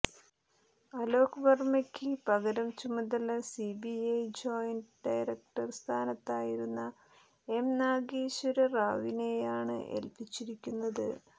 അലോക് വര്മ്മയ്ക്ക് പകരം ചുമതല സിബിഐ ജോയിന്റ് ഡയറക്ടർ സ്ഥാനത്തായിരുന്ന എം നാഗേശ്വര റാവുവിനെയാണ് ഏൽപ്പിച്ചിരിക്കുന്നത്